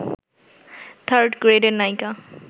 third গ্রেডের নায়িকা